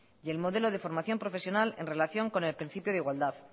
y el modelo de formación profesional en relación con el principio de igualdad